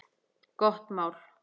Gott mál.